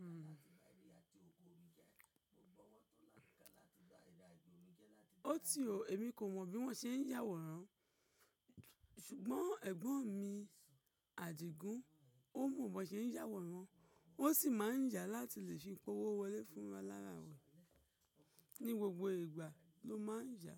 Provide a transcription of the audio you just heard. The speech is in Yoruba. O ti o, èmi kò mọ̀ bí wọ́n ṣe ń yàwòrán, ṣùgbọ́n ẹ̀gbọ́n mi Adigun ó mọ bí wọ́n ṣe ń yàwòrán, ó sì máa ń ya láti lè fi pó owó wọlé fún wa láràárọ̀. Ni gbogbo ìgbà ló má a ń yà.